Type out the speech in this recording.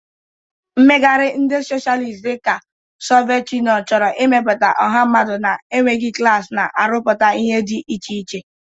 Mmegharị ndị Socialist dị ka Soviet Union chọrọ ịmepụta ọha mmadụ na-enweghị klas, na-arụpụta ihe dị iche iche.